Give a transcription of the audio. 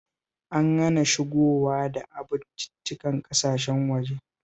An hana shigowa da abinciccikan ƙasashen waje